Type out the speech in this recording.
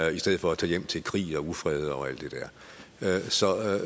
i stedet for at tage hjem til krig og ufred og alt